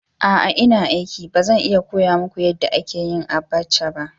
Aa ina aiki. Ba zan iya koya muku yadda ake yin abacha ba.